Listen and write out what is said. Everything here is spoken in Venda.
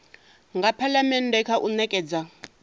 nga phalamennde kha u nekedza